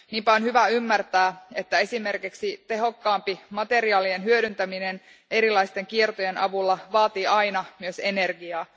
Niinpä on hyvä ymmärtää, että esimerkiksi tehokkaampi materiaalien hyödyntäminen erilaisten kiertojen avulla vaatii aina myös energiaa.